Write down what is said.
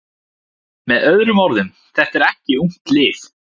Með öðrum orðum: Þetta er ekki ungt lið.